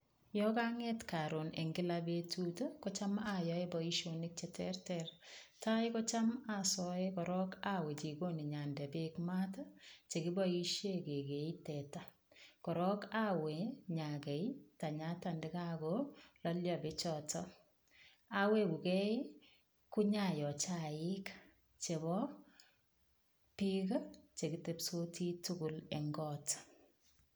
Yo kang'et karon eng' kila betut kocham ayoe boishonik cheterter tai kocham asoe korok awe jikoni nyande beek maat chekiboishe kekee teta korok awe nyakei tanyata ndikakololio bechoto awekukei konyayoo chaik chebo biik chekitepsoti tugul eng' koot